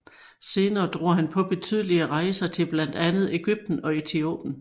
Senere drog han på betydelige rejser til blandt andet Egypten og Etiopien